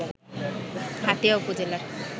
হাতিয়া উপজেলার